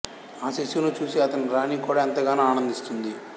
ఆ శిశువును చూసి అతని రాణి కూడా ఎంతగానో ఆనందిస్తుంది